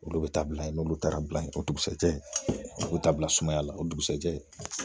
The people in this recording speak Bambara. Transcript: Olu bɛ taa bila yen ,n'olu taara bila yen, o dugusajɛ ,u b'o ta bila sumaya la o dugusajɛ